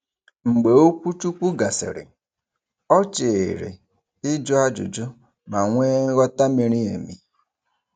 Mgbe okwuchukwu gasịrị, ọ cheere ị jụ ajụjụ ma nwe nghọta miri emi.